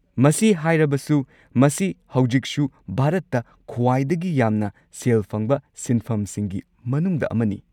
ꯃꯁꯤ ꯍꯥꯏꯔꯕꯁꯨ, ꯃꯁꯤ ꯍꯧꯖꯤꯛꯁꯨ ꯚꯥꯔꯠꯇ ꯈ꯭ꯋꯥꯏꯗꯒꯤ ꯌꯥꯝꯅ ꯁꯦꯜ ꯐꯪꯕ ꯁꯤꯟꯐꯝꯁꯤꯡꯒꯤ ꯃꯅꯨꯡꯗ ꯑꯃꯅꯤ꯫